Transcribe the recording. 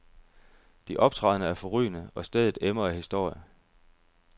De optrædende er forrygende, og stedet emmer af historie.